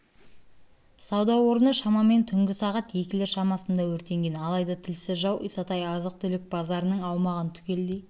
сауда орны шамамен түнгі сағат екілер шамасында өртенген алайда тілсіз жау исатай азық-түлік базарының аумағын түгелдей